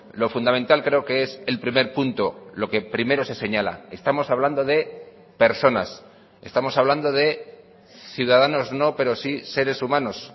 lo fundamental creo que es el primer punto lo que primero se señala estamos hablando de personas estamos hablando de ciudadanos no pero sí seres humanos